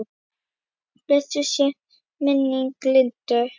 Blessuð sé minning Lindu.